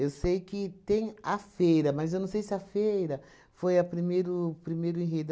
Eu sei que tem a feira, mas eu não sei se a feira foi a primeiro primeiro enredo.